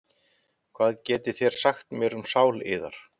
Hvað getið þér sagt mér um sál yðar?